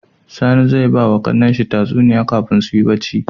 Sani zai bawa kAnan shi tsatuniya kafin suyi bacci